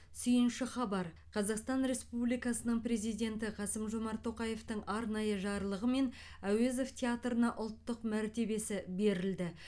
сүиінші хабар қазақстан республикасының президенті қасым жомарт тоқаевтың арнаиы жарлығымен әуезов театрына ұлттық мәртебесі берілді